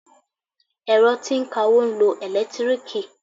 Ẹ̀rọ tí ń kawó ń lo ẹ̀lẹ́tíríìkì.